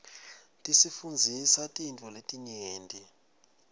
tisifundzisa tintfo letinyenti